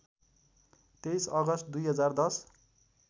२३ August २०१०